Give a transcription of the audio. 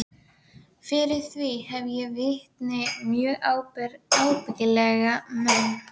Hauks heitins húsamálara og Þórð, gamla kammeratinn minn úr barnaskóla.